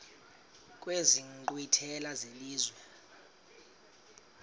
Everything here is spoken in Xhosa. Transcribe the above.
kwezi nkqwithela zelizwe